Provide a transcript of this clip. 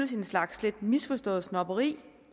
slags lidt misforstået snobberi